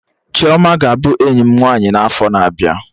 Chioma ga-abụ enyi m nwaanyị n'afo na-abịa